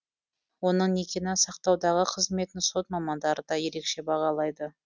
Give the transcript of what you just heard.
оның некені сақтаудағы қызметін сот мамандары да ерекше бағалайды